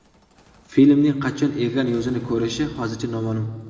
Filmning qachon ekran yuzini ko‘rishi hozircha noma’lum.